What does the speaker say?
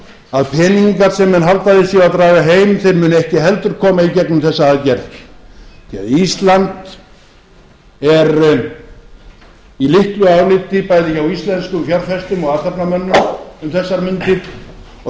að peningar sem menn halda að þeir séu að draga heim þeir muni heldur ekki koma í gegnum þessa aðgerð því ísland er í litlu áliti bæði hjá íslenskum fjárfestum og athafnamönnum um þessar mundir og